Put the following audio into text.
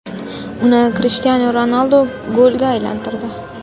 Uni Krishtianu Ronaldu golga aylantirdi.